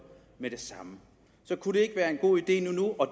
med det samme kunne det ikke være en god idé